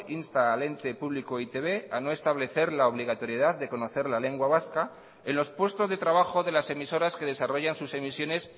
insta al ente público e i te be a no establecer la obligatoriedad de conocer la lengua vasca en los puestos de trabajo de las emisoras que desarrollan sus emisiones